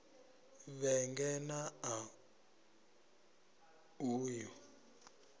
vhege n ṋ a uya